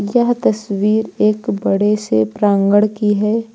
यह तस्वीर एक बड़े से प्रांगण की है।